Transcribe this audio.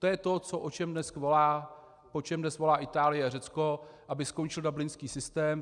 To je to, po čem dnes volá Itálie a Řecko, aby skončil dublinský systém.